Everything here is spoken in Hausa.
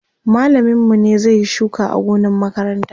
mallamin mu ne zai Yi shuka a gonan makaranta